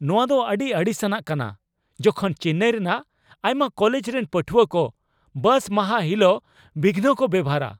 ᱱᱚᱣᱟ ᱫᱚ ᱟᱹᱰᱤ ᱟᱹᱲᱤᱥᱟᱱᱟᱜ ᱠᱟᱱᱟ ᱡᱚᱠᱷᱚᱱ ᱪᱮᱱᱱᱟᱭ ᱨᱮᱱᱟᱜ ᱟᱭᱢᱟ ᱠᱚᱞᱮᱡ ᱨᱮᱱ ᱯᱟᱹᱴᱷᱩᱣᱟᱹᱠᱚ ᱵᱟᱥ ᱢᱟᱦᱟ ᱦᱤᱞᱟᱹᱜ ᱵᱤᱜᱷᱚᱱᱠᱚ ᱵᱮᱣᱦᱟᱨᱟ ᱾